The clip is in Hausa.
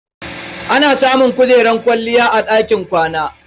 Ana samun kujerar kwalliya a ɗakin kwana.